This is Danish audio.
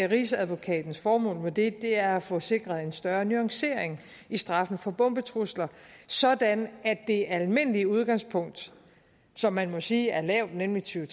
rigsadvokatens formål med det er at få sikret en større nuancering i straffene for bombetrusler sådan at det almindelige udgangspunkt som man må sige er lavt nemlig tyve